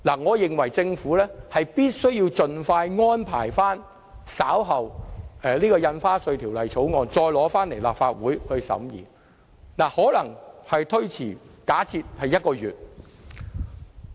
我認為政府有必要盡快安排在稍後時間，重新向立法會提交《條例草案》，而時間上可能會稍為推遲，例如1個月。